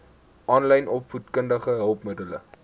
aanlyn opvoedkundige hulpmiddele